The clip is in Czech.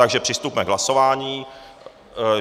Takže přistupme k hlasování.